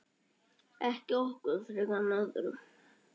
Ekki okkur frekar en öðrum.